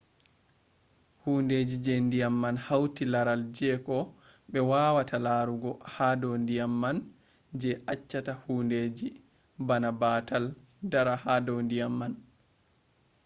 hundeji je ndiyam man hauti laral jeko be wawata larugo ha do ndiyam man je achchata hundeji bana batal dara hado ndiyam man